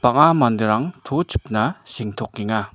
bang·a manderang to chipna sengtokenga.